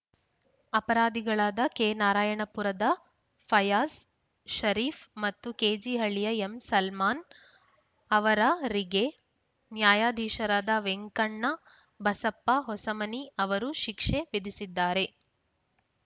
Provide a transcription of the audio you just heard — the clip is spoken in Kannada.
ಅಪರಾಧಿಗಳಾದ ಕೆನಾರಾಯಣಪುರದ ಫಯಾಸ್ ಷರೀಫ್‌ ಮತ್ತು ಕೆಜೆಹಳ್ಳಿಯ ಎಂಸಲ್ಮಾನ್‌ ಅವರರಿಗೆ ನ್ಯಾಯಾಧೀಶರಾದ ವೆಂಕಣ್ಣ ಬಸಪ್ಪ ಹೊಸಮನಿ ಅವರು ಶಿಕ್ಷೆ ವಿಧಿಸಿದ್ದಾರೆ